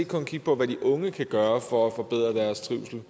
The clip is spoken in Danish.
kun kigge på hvad de unge kan gøre for at forbedre deres trivsel